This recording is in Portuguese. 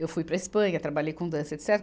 Eu fui para a Espanha, trabalhei com dança, etecetera.